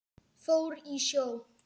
Fór í sjó.